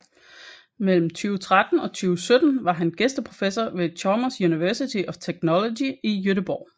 Mellem 2013 og 2017 var han gæsteprofessor ved Chalmers University of Technology i Göteborg